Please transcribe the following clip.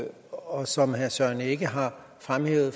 og som herre søren egge rasmussen har fremhævet